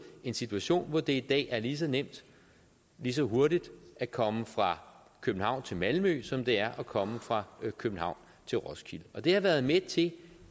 en situation hvor det i dag er lige så nemt lige så hurtigt at komme fra københavn til malmø som det er at komme fra københavn til roskilde det har været med til